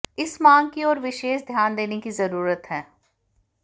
इस मांग की ओर विशेष ध्यान देने की जरूरत है